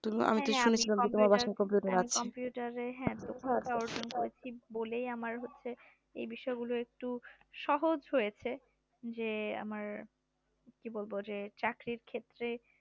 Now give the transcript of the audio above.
computercomputer এর দক্ষতা অর্জন করেছি বলেই আমার এই বিষয়গুলো একটু সহজ হয়েছে যে আমার কি বলবো যে চাকরির ক্ষেত্রে